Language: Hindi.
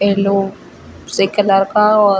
एलो से कलर का और --